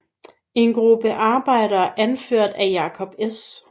En gruppe arbejdere anført af Jacob S